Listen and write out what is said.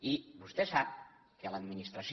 i vostè sap que l’administració